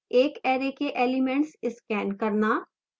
एक array के elements scan करना